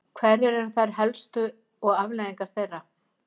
Hverjar eru þær helstu og afleiðingar þeirra?